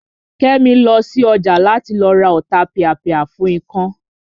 Kẹ́mi lọ sí ọjà láti lọ ra Ọ̀tapìàpìà fún ikán